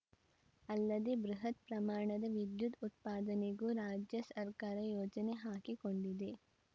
ಅಲ್ಲದೆ ಬೃಹತ್‌ ಪ್ರಮಾಣದ ವಿದ್ಯುತ್‌ ಉತ್ಪಾದನೆಗೂ ರಾಜ್ಯ ಸರ್ಕಾರ ಯೋಜನೆ ಹಾಕಿಕೊಂಡಿದೆ